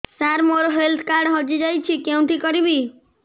ସାର ମୋର health card ହଜି ଯାଇଛି କେଉଁଠି କରିବି